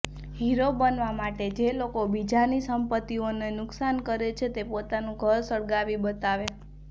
hero બનવા માટે જે લોકો બીજાની સંપતિઓને નુકસાન કરે છે તે પોતાનું ઘર સળગાવી બતાવે